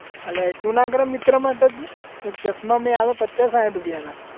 અલ્યા એટલું ના કરે મિત્ર માટે તું એક ચશ્માં મે પચાસ સાહીઠ રૂપિયાના